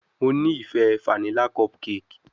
Mo ni ife fanila cupcake